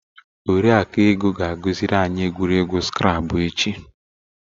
Oriakụ Ego ga agụ ziri anyị egwuregwu skrabụ echi.